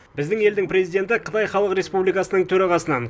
біздің елдің президенті қытай халық республикасының төрағасынан